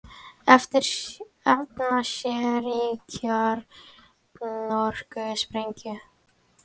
Efna sér í kjarnorkusprengju